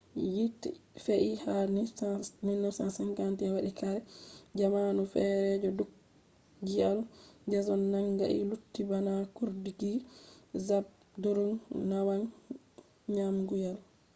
yite fe'i ha 1951 wadi kare jamanu fere je drukgyal dzong nangai lutti bana cuurdinki zhabdrung ngawang namgyal